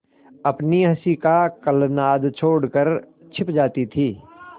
अपनी हँसी का कलनाद छोड़कर छिप जाती थीं